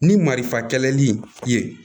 Ni marifa kɛlen i ye